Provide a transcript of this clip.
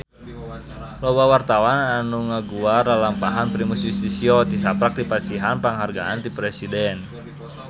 Loba wartawan anu ngaguar lalampahan Primus Yustisio tisaprak dipasihan panghargaan ti Presiden